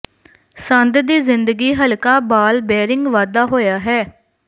ਸੰਦ ਦੀ ਜ਼ਿੰਦਗੀ ਹਲਕਾ ਬਾਲ ਬੈਰਿੰਗ ਵਾਧਾ ਹੋਇਆ ਹੈ